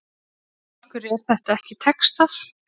Af hverju er þetta ekki textað?